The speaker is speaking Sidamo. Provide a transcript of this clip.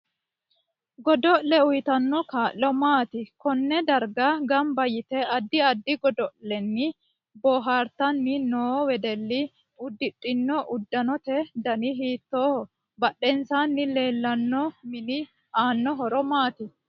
Godo'le uyiitanno kaa'lo maati konne darga ganba yite addi addi godo'leni boohartanni noo wedelli udidhino uddanote dani hiitooho badhensaani leelano mini aano horo maati